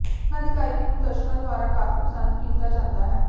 ਉਹਨਾਂ ਦੀ ਗਾਇਕੀ ਨੂੰ ਦਰਸ਼ਕਾਂ ਦੁਆਰਾ ਕਾਫੀ ਪਸੰਦ ਕੀਤਾ ਜਾਂਦਾ ਹੈ